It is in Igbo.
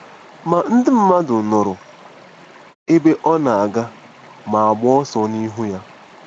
Ma ndị mmadụ nụrụ ebe ọ na-aga ma gbaa ọsọ n’ihu ya.